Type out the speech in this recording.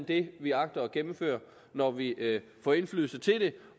det vi agter at gennemføre når vi får indflydelse til det